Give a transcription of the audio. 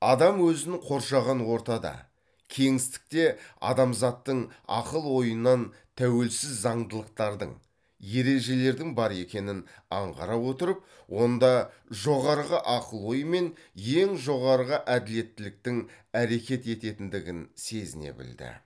адам өзін қоршаған ортада кеңістікте адамзаттың ақыл ойынан тәуелсіз заңдылықтардың ережелердің бар екенін аңғара отырып онда жоғарғы ақыл ой мен ең жоғарғы әділеттіліктіктің әрекет ететіндігін сезіне білді